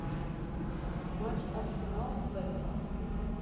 матч арсенал с лестером